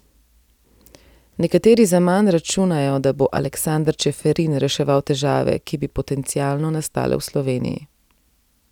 Nekateri zaman računajo, da bo Aleksander Čeferin reševal težave, ki bi potencialno nastale v Sloveniji.